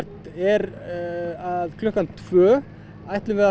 er að klukkan tvö ætlum við að